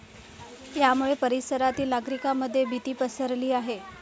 यामुळे परिसरातील नागरिकांमध्ये भीती पसरली आहे.